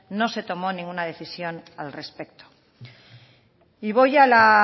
no se tomó ninguna decisión al respecto y voy a la